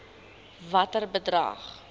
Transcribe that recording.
watter bedrag